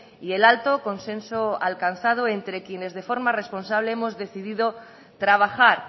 y el alto consenso alcanzado entre quienes de forma responsable hemos decidido trabajar